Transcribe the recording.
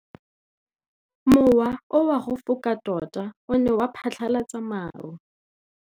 Mowa o wa go foka tota o ne wa phatlalatsa maru.